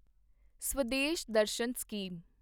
Swadesh Darshan scheme